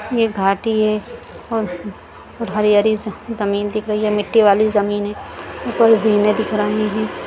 यह घाटी है और हरी हरी जमीन दिख रही है मिट्टी वाली जमीन है ऊपर जीने दिख रहे है।